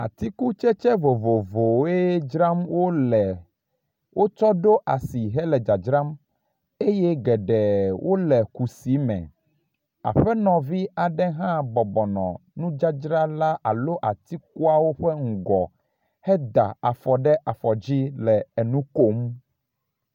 Atikutsetse vovovowoe dzram wo le. Wotsɔ ɖo asi hele dadzram eye geɖe wo le kusi me. Aƒenɔvu aɖe hã bɔbɔnɔ nudzadzra la alo atikuawo ƒe ŋgɔ heda afɔ ɖe afɔ dzi le enu kom.